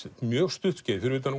mjög stutt skeið fyrir utan